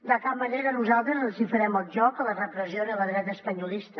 de cap manera nosaltres els hi farem el joc a la repressió ni a la dreta espanyolista